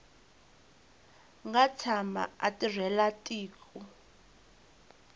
nga tshama a tirhela tiko